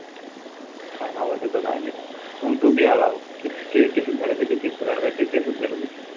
काय नाव आहे त्याच काय माहिती? तो बी आला होता. किती cases झालेत त्याचे तेहेतीस हजार कांहीतरी cases झाल्या त्याचे.